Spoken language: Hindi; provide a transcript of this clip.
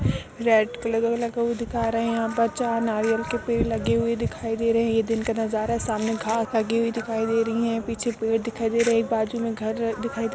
रेड कलर वाला दिखा रहे हैं। यहाँ पर चार नारियल के पेड़ लगे हुए दिखाई दे रहे हैं। ये दिन का नजारा है। सामने घांस लगी हुई दिखाई दे रही है। पीछे पेड़ दिखाई दे रही है। एक बाजु में घर दिखाई दे --